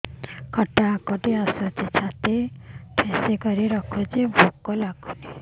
ଖଟା ହାକୁଟି ଆସୁଛି ଛାତି ଠେସିକରି ରଖୁଛି ଭୁକ ଲାଗୁନି